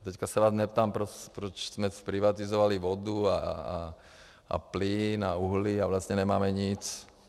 Teď se vás neptám, proč jsme zprivatizovali vodu a plyn a uhlí a vlastně nemáme nic.